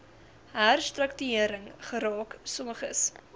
herstruktuering geraak sommiges